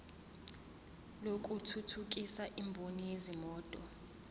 lokuthuthukisa imboni yezimoto